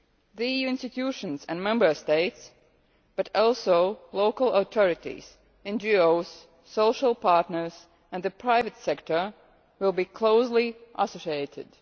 The EU institutions and Member States, but also local authorities, NGOs social partners and the private sector, will be closely involved.